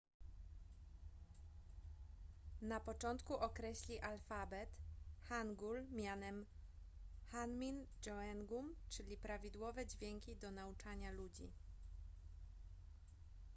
na początku określi alfabet hangul mianem hunmin jeongeum czyli prawidłowe dźwięki do nauczania ludzi